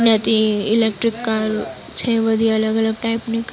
Electric car છે બધી અલગ અલગ ટાઈપ ની.